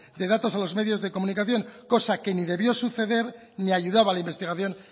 de datos a los medios de comunicación cosa que ni debió suceder ni ayudaba a la investigación